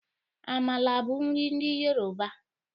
Amala bụ nri ndị yoroba.